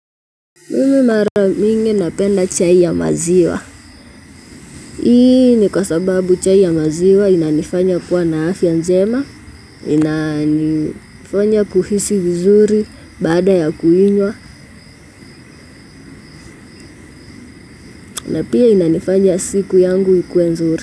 Mi mara mingi napenda chai ya maziwa. Hii ni kwa sababu chai ya maziwa inanifanya kuwa na afya njema, inanifanya kuhisi vizuri baada ya kuinywa na pia inanifanya siku yangu ikuwe nzuri.